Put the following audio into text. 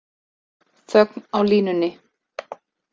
Þögn á línunni.